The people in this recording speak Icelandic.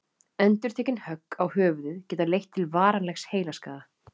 Endurtekin högg á höfuðið geta leitt til varanlegs heilaskaða.